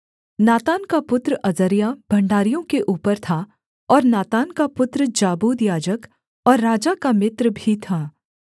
नातान का पुत्र अजर्याह भण्डारियों के ऊपर था और नातान का पुत्र जाबूद याजक और राजा का मित्र भी था